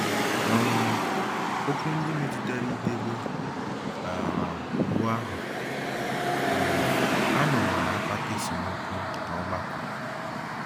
um Okwu ndị metụtara idebe um Iwu ahụ um anọwo na-akpata esemokwu n'ọgbakọ.